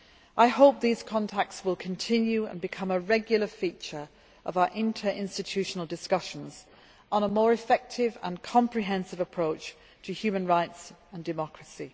I hope that these contacts will continue and become a regular feature of our inter institutional discussions on a more effective and comprehensive approach to human rights and democracy.